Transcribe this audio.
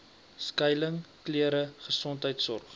skuiling klere gesondheidsorg